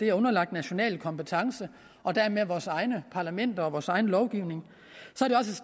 er underlagt national kompetence og dermed vores egne parlamenter og vores egen lovgivning